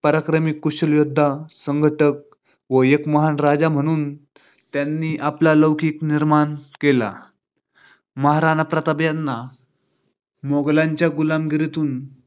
पराक्रमी कुशल योद्धा, संघटक व एक महान राजा म्हणून त्यांनी आपला लोकिक निर्माण केला. महाराणा प्रताप यांना मोगलांच्या गुलामगिरीतून